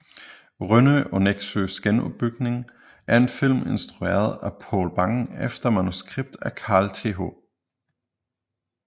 Rønne og Neksøs genopbygning er en film instrueret af Poul Bang efter manuskript af Carl Th